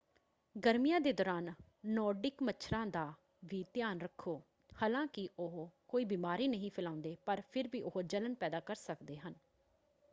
ਗਰਮੀਆਂ ਦੇ ਦੌਰਾਨ ਨੌਰਡਿਕ ਮੱਛਰਾਂ ਦਾ ਵੀ ਧਿਆਨ ਰੱਖੋ। ਹਾਲਾਂਕਿ ਉਹ ਕੋਈ ਬਿਮਾਰੀ ਨਹੀਂ ਫੈਲਾਉਂਦੇ ਪਰ ਫਿਰ ਵੀ ਉਹ ਜਲਣ ਪੈਦਾ ਕਰ ਸਕਦੇ ਹਨ।